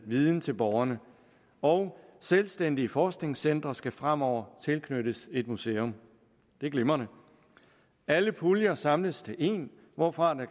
viden til borgerne og selvstændige forskningscentre skal fremover tilknyttes et museum det er glimrende alle puljer samles til én hvorfra der